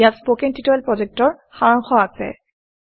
ইয়াত spoken tutorial প্ৰকল্পৰ সাৰাংশ আছে